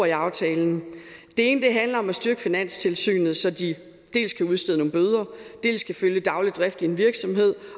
i aftalen det ene handler om at styrke finanstilsynet så de dels kan udstede nogle bøder dels kan følge den daglige drift i en virksomhed